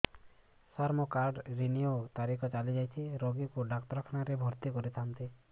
ସାର ମୋର card renew ତାରିଖ ଚାଲି ଯାଇଛି ରୋଗୀକୁ ଡାକ୍ତରଖାନା ରେ ଭର୍ତି କରିଥାନ୍ତି